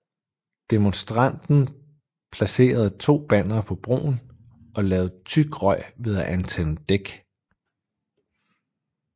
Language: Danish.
Demonstranten placerede to bannere på broen og lavede tyk røg ved at antænde dæk